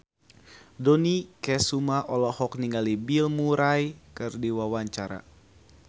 Dony Kesuma olohok ningali Bill Murray keur diwawancara